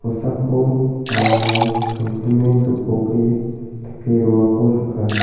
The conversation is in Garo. sako aramrang tangsime gipoke dake roako nika.